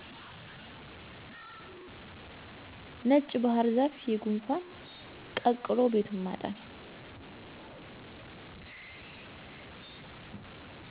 ነጭ ባህርዛፍ የጉንፋን ቀቅሎ ቤቱን ማጠን